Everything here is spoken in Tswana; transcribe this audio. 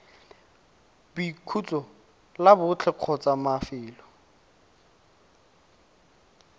boikhutso la botlhe kgotsa mafelo